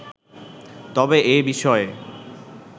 তবে এ বিষয়ে